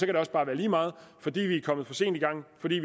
det også bare være lige meget fordi vi er kommet for sent i gang fordi